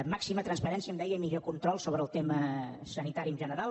màxima transparència em deia i millor control sobre el tema sanitari en general